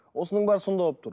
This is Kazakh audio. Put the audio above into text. осының бәрі сонда болып тұр